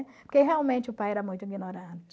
Porque realmente o pai era muito ignorante.